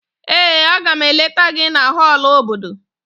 Ee, Aga m eleta gị na họọlụ obodo